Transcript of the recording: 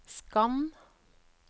skann